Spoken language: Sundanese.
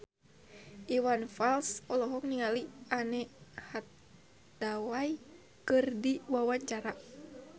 Iwan Fals olohok ningali Anne Hathaway keur diwawancara